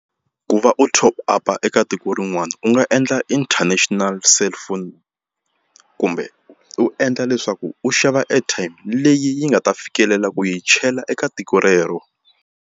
Ku va u top up-a eka tiko rin'wani u nga endla international cellphone kumbe u endla leswaku u xava airtime leyi yi nga ta fikelela ku yi chela eka tiko rero.